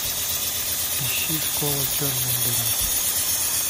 ищи школа черная дыра